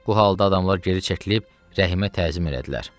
Bu halda adamlar geri çəkilib Rəhimə təzim elədilər.